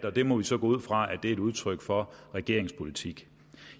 og det må vi så gå ud fra er et udtryk for regeringens politik